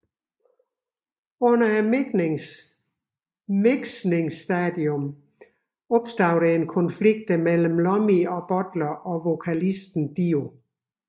Under miksningstadiet opstod der en konflikt mellem Iommi og Butler og vokalisten Dio